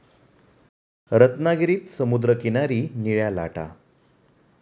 रत्नागिरीत समुद्रकिनारी निळ्या लाटा!